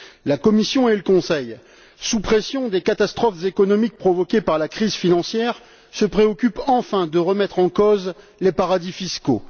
La Commission et le Conseil, sous la pression des catastrophes économiques provoquées par la crise financière, se préoccupent enfin de remettre en cause les paradis fiscaux.